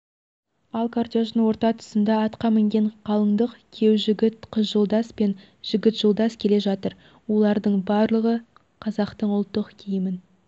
ал кортеждің орта тұсында атқа мінген қалыңдық күйеу жігіт қыз жолдас пен жігіт жолдас келе жатыр олардың барлығы қазақтың ұлттық киімін